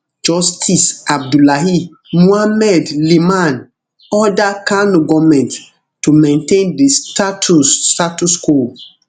justice abdullahi muhammad liman order kano goment to maintain di status status quo